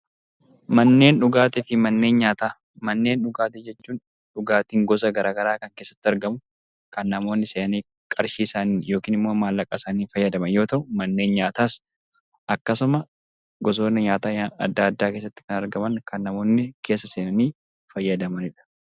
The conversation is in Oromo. Manneen dhugaatii jechuun dhugaatiin gosa garaagaraa kan keessatti argamu kan namoonni seenanii qarshii isaaniin yookiin maallaqa isaanii fayyadaman yoo ta'u manneen nyaataa akkasuma gosoota nyaataa adda addaa kan keessatti argaman kan namoonni keessa seenanii fayyadamanidha.